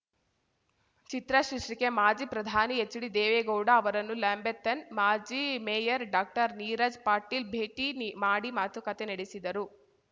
ಚಿತ್ರ ಶೀರ್ಷಿಕೆ ಮಾಜಿ ಪ್ರಧಾನಿ ಎಚ್‌ಡಿದೇವೇಗೌಡ ಅವರನ್ನು ಲ್ಯಾಂಬೆತ್‌ನ ಮಾಜಿ ಮೇಯರ್‌ ಡಾಕ್ಟರ್ನೀರಜ್‌ ಪಾಟೀಲ್‌ ನಿ ಭೇಟಿ ಮಾಡಿ ಮಾತುಕತೆ ನಡೆಸಿದರು